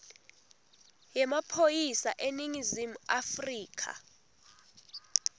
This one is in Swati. yemaphoyisa eningizimu afrika